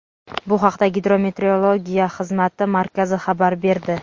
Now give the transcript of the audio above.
Bu haqda gidrometeorologiya xizmati markazi xabar berdi.